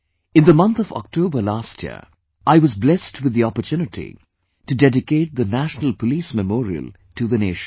In the month of Octoberlast year, I was blessed with the opportunity to dedicate the National Police Memorial to the nation